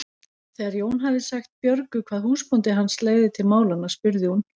Þegar Jón hafði sagt Björgu hvað húsbóndi hans legði til málanna spurði hún